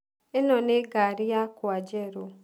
ĩno nĩ ngaari yakwa njerù